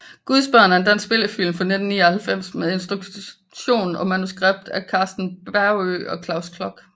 Guds børn er en dansk spillefilm fra 1999 med instruktion og manuskript af Karsten Baagø og Claus Klok